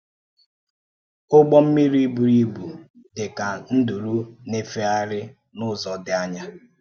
ụ́gbọ̀ mmirí burù ibu dị kà nduru na-éfègharị n’ụ́zọ̀ dị ànyà.